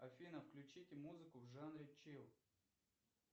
афина включите музыку в жанре чил